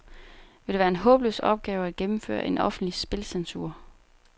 Vil det være en håbløs opgave at gennemføre en offentlig spilcensur?